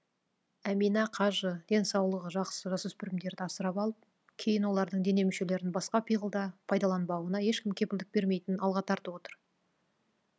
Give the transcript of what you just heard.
әминә қажы денсаулығы жақсы жасөспірімдерді асырап алып кейін олардың дене мүшелерін басқа пиғылда пайдаланбауына ешкім кепілдік бермейтінін алға тартып отыр